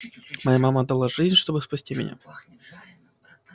моя мама отдала жизнь чтобы спасти меня